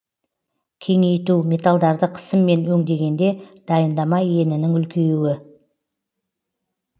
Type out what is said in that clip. кеңейту металдарды қысыммен өндегенде дайындама енінің үлкеюі